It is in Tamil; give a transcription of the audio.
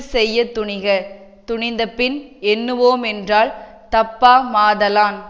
செய்ய துணிக துணிந்தபின் எண்ணுவோமென்றல் தப்பாமாதலான்